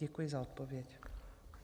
Děkuji za odpověď.